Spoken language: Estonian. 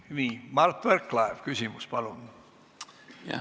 Nii, Mart Võrklaev, küsimus, palun!